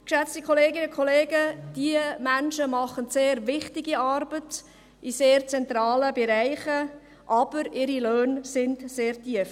Geschätzte Kolleginnen und Kollegen, diese Menschen machen sehr wichtige Arbeit in sehr zentralen Bereichen, aber ihre Löhne sind sehr tief.